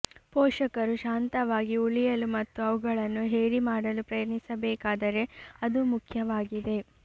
ಪೋಷಕರು ಶಾಂತವಾಗಿ ಉಳಿಯಲು ಮತ್ತು ಅವುಗಳನ್ನು ಹೇರಿ ಮಾಡಲು ಪ್ರಯತ್ನಿಸಬೇಕಾದರೆ ಅದು ಮುಖ್ಯವಾಗಿದೆ